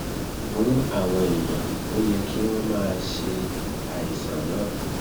fún àwọn èèyàn ó yẹ kí wón máa ṣe àìsàn náà